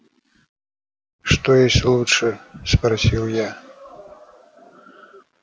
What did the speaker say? что есть лучшее спросил я